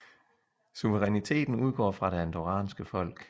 Suveræniteten udgår fra det andorranske folk